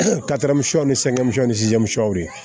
ni ni de ye